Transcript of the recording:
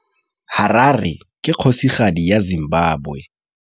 Harare ke kgosigadi ya Zimbabwe.